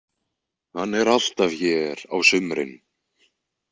Hann er alltaf hér á sumrin.